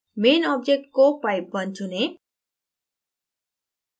main object को pipe _ 1 चुनें